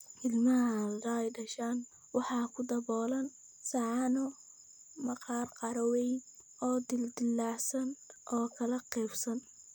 Ilmaha hadda dhashay waxa ku daboolan saxanno maqaar qaro weyn leh oo dildillaacsan oo kala qaybsan.